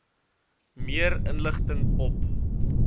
meer inligting op